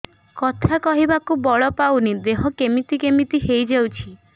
କଥା କହିବାକୁ ବଳ ପାଉନି ଦେହ କେମିତି କେମିତି ହେଇଯାଉଛି